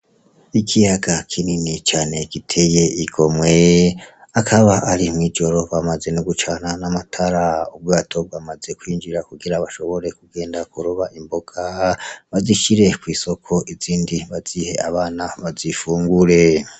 Ikiyaga kinini cane giteye igomwe, akaba ari mw'ijoro bamaze no gucana n'amatara, ubwato bwamaze kwinjira kugira bashobore kugenda kuroba imboga, bazishire kw'isoko, izindi bazihe abana bazifungure.